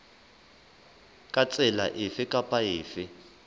ka tsela efe kapa efe